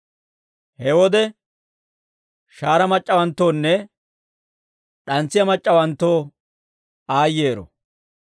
He wode shahaara mac'c'awanttoonne d'antsiyaa mac'c'awanttoo aayyeero.